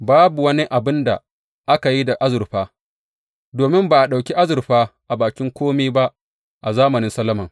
Babu wani abin da aka yi da azurfa, domin ba a ɗauki azurfa a bakin kome ba a zamanin Solomon.